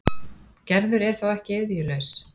Gerður er þó ekki iðjulaus.